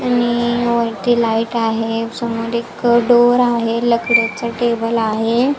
आणि वरती लाईट आहे समोर एक डोअर आहे लाकडाचा एक टेबल आहे.